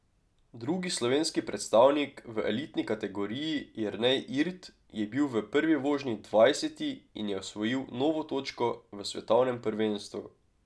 Drugi slovenski predstavnik v elitni kategoriji, Jernej Irt, je bil v prvi vožnji dvajseti in je osvojil novo točko v svetovnem prvenstvu.